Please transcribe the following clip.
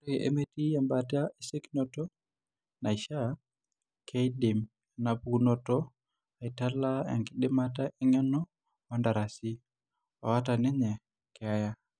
Ore metii embaata esiokinoto, naishiaa, keidim enapukunoto aitala enkidimata eng'eno oontarasi oata ninye keeya.